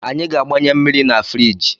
Anyị ga-agbanye mmiri na firiji